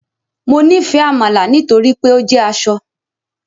Mo nifẹ amala nitori pe o jẹ asọ